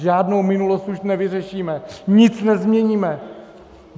Žádnou minulost už nevyřešíme, nic nezměníme.